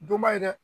Donba ye dɛ